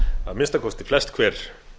að minnsta kosti flest hver